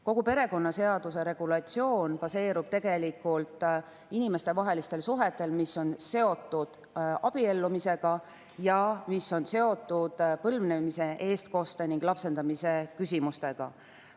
Kogu perekonnaseaduse regulatsioon baseerub inimestevahelistel suhetel, mis on seotud abiellumisega ning põlvnemise, eestkoste ja lapsendamise küsimustega.